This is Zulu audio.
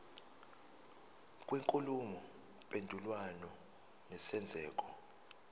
kwenkulumo mpendulwano nesenzeko